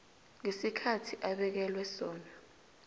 ngesikhathi abekelwe sona